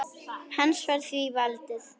Hans var því valdið.